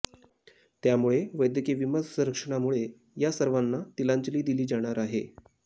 त्यामुळे वैद्यकीय विमा संरक्षणामुळे या सर्वाना तिलांजली दिली जाणार आहे